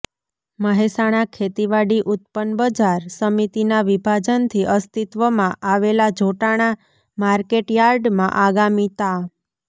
મહેસાણા ખેતીવાડી ઉત્પન્ન બજાર સમિતિના વિભાજનથી અસ્તિત્વમાં આવેલા જોટાણા માર્કેટ યાર્ડમાં આગામી તા